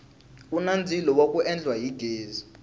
kuni ndzilo wa ku endla hi ghezi